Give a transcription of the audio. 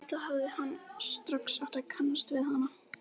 Auðvitað hefði hann strax átt að kannast við hana.